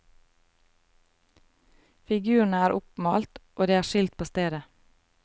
Figurene er oppmalt og det er skilt på stedet.